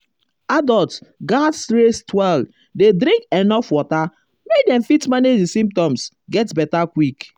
adults gatz rest well dey drink enuf water make dem fit manage di symptoms get beta quick.